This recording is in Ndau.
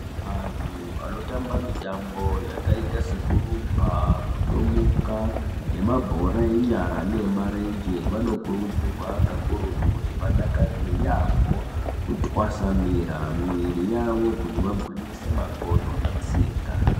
Vantu vanotamba mitambo yakaita sekurumba, kutomuka nemabhora enyara neemarenje vanokurudzirwa kakurutu kuti vadakarire yaamho kutwasanura mwiri yavo kuti vagwinyise makodo netsinga.